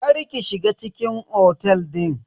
Kar ki shiga cikin otel din.